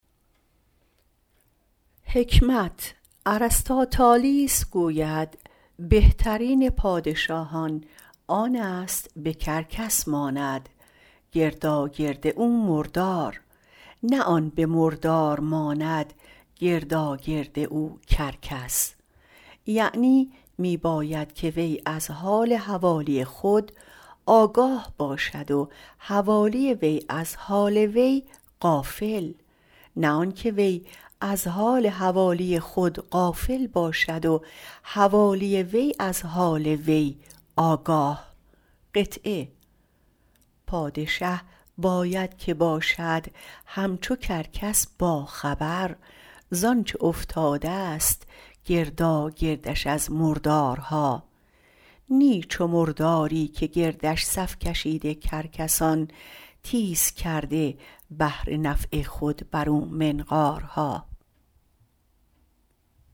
ارسطاطالیس گوید بهترین پادشاهان آن است به کرگس ماند گرداگرد او مردار نه آن که به مردار ماند گرداگرد او کرگس یعنی می باید که وی از حال حوالی خود آگاه باشد و حوالی وی غافل نه وی از حال حوالی خود غافل باشد و حوالی وی از حال وی آگاه پادشه باید که باشد همچو کرگس با خبر زانچه افتاده ست گرداگرد او مردارها نی چو مرداری که گردش صف کشیده کرگسان تیز کرده بهر نفع خود بر او منقارها